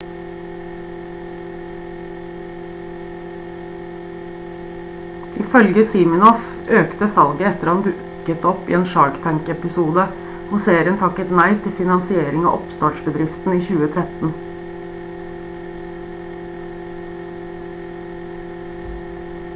ifølge siminoff økte salget etter han dukket opp i en shark tank-episode hvor serien takket nei til finansiering av oppstartsbedriften i 2013